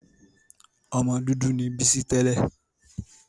Ọmọ dúdú ni Bísí tẹ́lẹ̀.